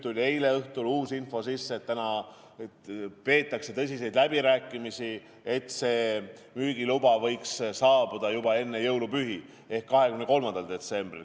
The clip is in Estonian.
Eile õhtul tuli uus info: täna peetakse tõsiseid läbirääkimisi, et müügiluba võiks saabuda juba enne jõulupühi ehk 23. detsembril.